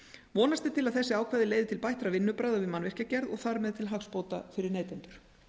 vonast er til að þessi ákvæði leiði til bættra vinnubragða við mannvirkjagerð og þar með til hagsbóta fyrir neytendur